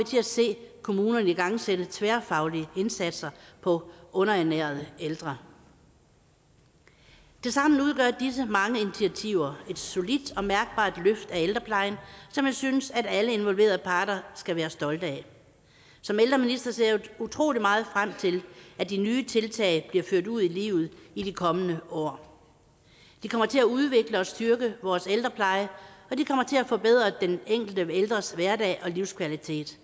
til at se kommunerne igangsætte tværfaglige indsatser på underernærede ældre tilsammen udgør disse mange initiativer et solidt og mærkbart løft af ældreplejen som jeg synes alle involverede parter skal være stolte af som ældreminister ser jeg utrolig meget frem til at de nye tiltag bliver ført ud i livet i de kommende år de kommer til at udvikle og styrke vores ældrepleje og de kommer til at forbedre den enkelte ældres hverdag og livskvalitet